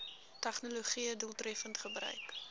tegnologië doeltreffend gebruik